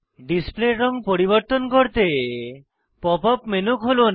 ডিসপ্লের রঙ পরিবর্তন করতে পপ আপ মেনু খুলুন